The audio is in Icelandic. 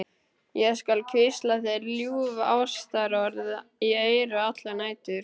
Ég skal hvísla þér ljúf ástarorð í eyru allar nætur.